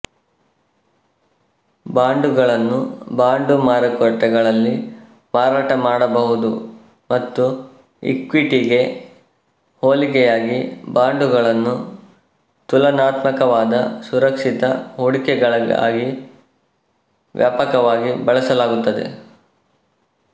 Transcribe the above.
ಬಾಂಡುಗಳನ್ನು ಬಾಂಡು ಮಾರುಕಟ್ಟೆಗಳಲ್ಲಿ ಮಾರಾಟಮಾಡಬಹುದು ಮತ್ತು ಇಕ್ವಿಟಿಗೆ ಹೋಲಿಕೆಯಾಗಿ ಬಾಂಡುಗಳನ್ನು ತುಲನಾತ್ಮಕವಾದ ಸುರಕ್ಷಿತ ಹೂಡಿಕೆಗಳಾಗಿ ವ್ಯಾಪಕವಾಗಿ ಬಳಸಲಾಗುತ್ತದೆ